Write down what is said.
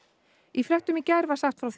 í fréttum í gær var sagt frá